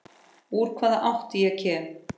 Úr hvaða átt ég kem.